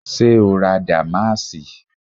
Ṣé o ra dàmáàsì?